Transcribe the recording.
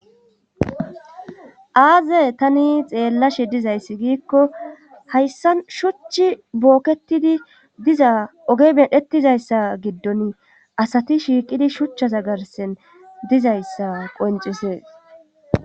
Aaze tani xeellashe dizayssi giikko hayssa shuchchi booketidi diza oge medhetizayssa giddon asati shiiqidi shuchchaza garsen dizayssa qoncisees.